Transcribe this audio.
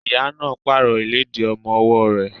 Ìyá náà pààrọ̀ ìlédìí ọmọ ọwọ́ rẹ̀.